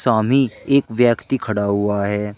सामी एक व्यक्ति खड़ा हुआ है।